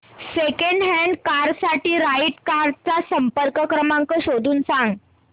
second hand car साठी right cars चा संपर्क क्रमांक शोधून सांग